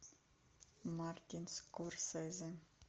мартин скорсезе